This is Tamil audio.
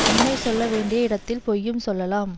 உண்மை சொல்ல வேண்டிய இடத்தில் பொய்யும் சொல்லலாம்